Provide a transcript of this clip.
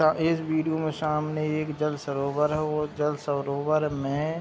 ता इस विडिओ में शामने एक जल सरोवर है वो जल सरोवर में --